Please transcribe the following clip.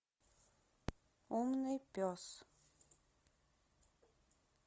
умный пес